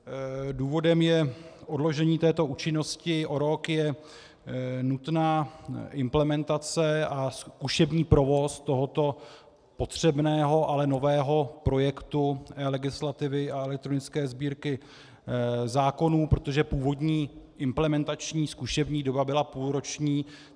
Důvodem odložení této účinnosti o rok je nutná implementace a zkušební provoz tohoto potřebného, ale nového projektu eLegislativy a elektronické Sbírky zákonů, protože původní implementační zkušební doba byla půlroční.